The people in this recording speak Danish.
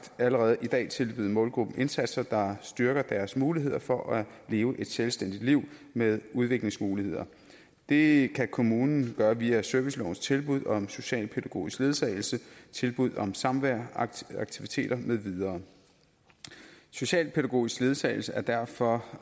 allerede i dag tilbyde målgruppen indsatser der styrker deres muligheder for at leve et selvstændigt liv med udviklingsmuligheder det kan kommunen gøre via servicelovens tilbud om socialpædagogisk ledsagelse tilbud om samvær aktiviteter med videre socialpædagogisk ledsagelse er derfor